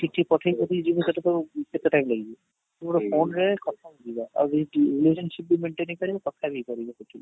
ଚିଠି ପଠେଇବ ବି ଯିବ ସେଠି ତ କେତେ time ଲାଗିବ ପୁରା phone ରେ କଥା ହେଇଯିବା, ଆଉ ଏଇ ଯଉ relationship କାରେ କଥା ବି ହେଇ ପାରିବ ସେଠି